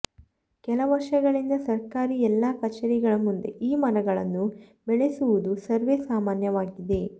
ಕೆಲ ವರ್ಷಗಳಿಂದ ಸರ್ಕಾರಿ ಎಲ್ಲ ಕಚೇರಿಗಳ ಮುಂದೆ ಈ ಮರಗಳನ್ನು ಬೆಳೆಸುವುದ ಸರ್ವೆ ಸಾಮಾನ್ಯವಾಗಿದೆ